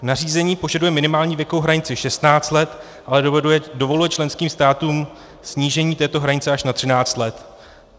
Nařízení požaduje minimální věkovou hranici 16 let, ale dovoluje členským státům snížení této hranice až na 13 let.